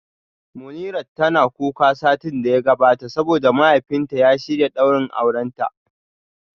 Munirat tana kuka satin da ya gabata saboda mahaifinta ya shirya daurin aurenta